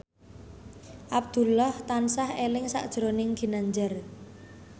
Abdullah tansah eling sakjroning Ginanjar